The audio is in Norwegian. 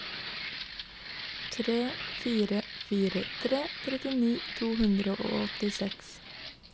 tre fire fire tre trettini to hundre og åttiseks